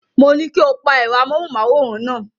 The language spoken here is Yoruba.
Mo ní kí o pa ẹ̀rọ amóhùnmáwòrán náà.